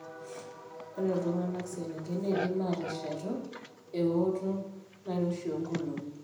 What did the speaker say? Ore iltung'anak selengen neidim aateshetu eooto nairoshi oonkolong'i.